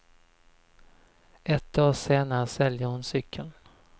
Ett år senare säljer hon cykeln.